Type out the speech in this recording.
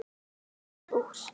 Það varð úr.